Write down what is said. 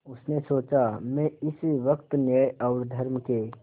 उसने सोचा मैं इस वक्त न्याय और धर्म के